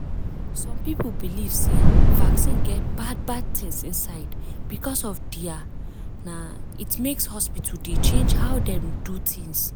some people believe sey vaccine get bad bad things inside because of their na it make hospital dey change how dem do things.